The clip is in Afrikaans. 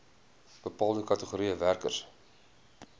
bepaalde kategorieë werkers